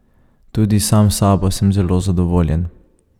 Tudi sam s sabo sem zelo zadovoljen.